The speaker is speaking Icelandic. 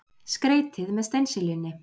Skreytið með steinseljunni.